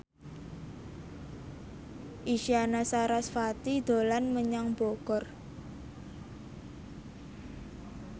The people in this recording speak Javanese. Isyana Sarasvati dolan menyang Bogor